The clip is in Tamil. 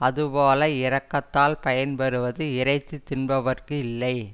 அது போல இரக்கத்தால் பயன் பெறுவது இறைச்சி தின்பவர்க்கு இல்லை